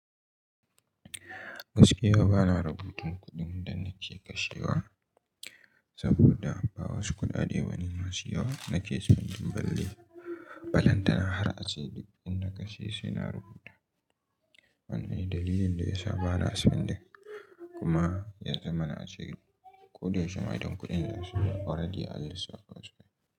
Gaskiya bana rubutun kuɗin da nake kashewa saboda ba wasu kuɗaɗe bane masu yawa. Nake son jin balle, balantana har ace duk inda kashe suna rubuta. Wannan ne dalilin da ya sa bana son le kuma ya zama na a ce ko da yaishe ma idan kuɗin ya zo already an lissafa fa su ma.